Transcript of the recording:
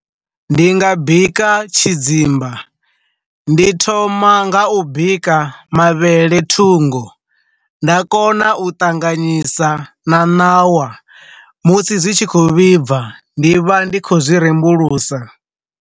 Ndi nga bika tshidzimba, ndi thoma nga u bika mavhele thungo, nda kona u ṱanganyisa na ṋawa musi zwi tshi khou vhibva, ndi vha ndi khou zwi rembulusa.